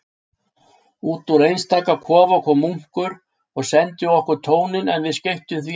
Útúr einstaka kofa kom munkur og sendi okkur tóninn, en við skeyttum því engu.